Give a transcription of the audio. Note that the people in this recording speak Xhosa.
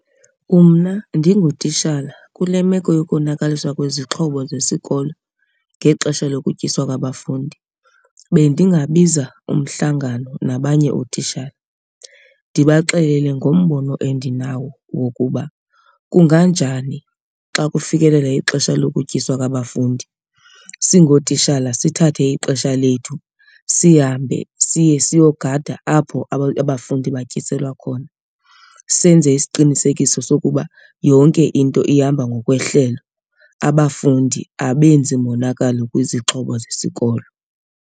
Mna ndingutitshala kule meko yokonakaliswa kwezixhobo zesikolo ngexesha lokutyiswa kwabafundi bendingabiza umhlangano nabanye ootishala. Ndibaxelele ngombono endinawo wokuba kunganjani xa kufikelela ixesha lokutyiswa kwabafundi singootishala sithathe ixesha lethu sihambe siye siyogada apho abafundi batyiselwa khona senze isiqinisekiso sokuba yonke into ihamba ngokwehlelo, abafundi abenzi monakalo kwizixhobo zesikolo.